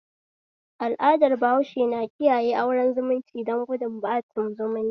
Al'adar bahaushe na kiyaye auren zumunci don gudun ɓacin zumunci